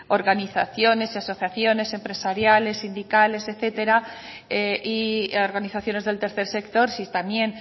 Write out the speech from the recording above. organizaciones y asociaciones empresariales sindicales etcétera y organizaciones del tercer sector si también